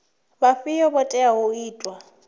vhafhio vho teaho u ita